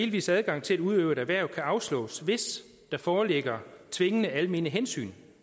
vis adgang til at udøve et erhverv kan afslås hvis der foreligger tvingende almene hensyn